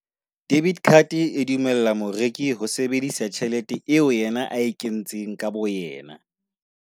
Debit card e dumella moreki ho sebedisa tjhelete eo yena a e kentseng ka bo yena.